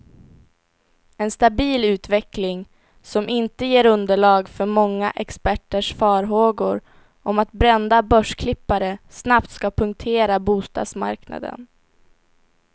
En stabil utveckling, som inte ger underlag för många experters farhågor om att brända börsklippare snabbt ska punktera bostadsmarknaden.